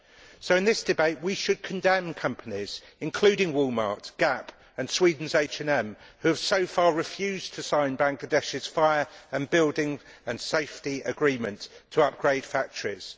So in this debate we should condemn companies, including Walmart, Gap and Sweden's HM, who have so far refused to sign Bangladesh's fire and building safety agreement to upgrade factories.